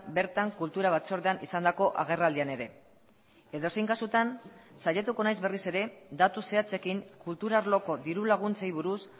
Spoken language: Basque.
bertan kultura batzordean izandako agerraldian ere edozein kasutan saiatuko naiz berriz ere datu zehatzekin kultura arloko dirulaguntzei buruz